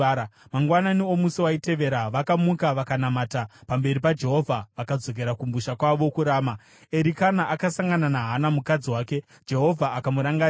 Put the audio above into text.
Mangwanani omusi waitevera vakamuka vakanamata pamberi paJehovha vakadzokera kumusha kwavo kuRama. Erikana akasangana naHana mukadzi wake, Jehovha akamurangarira.